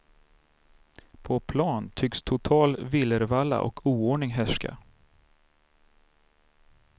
På plan tycks total villervalla och oordning härska.